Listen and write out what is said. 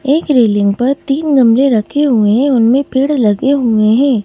एक रेलिंग पर तीन गमले रखे हुए हैं उनमें पेड़ लगे हुए हैं ।